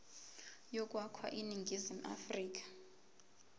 yokwakha iningizimu afrika